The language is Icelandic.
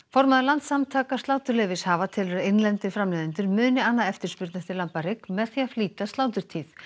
formaður Landssamtaka sláturleyfishafa telur að innlendir framleiðendur muni anna eftirspurn eftir lambahrygg með því að flýta sláturtíð